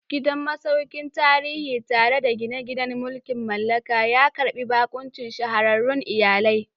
Gidan masaukin tarihi, tare da gine-ginen mulkin mallaka, ya karbi bakuncin shahararrun iyalai.